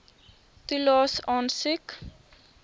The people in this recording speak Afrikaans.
toelaes aansoek